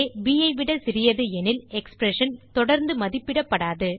bஐ விட சிறியது எனில் எக்ஸ்பிரஷன் தொடர்ந்து மதிப்பிடப்படாது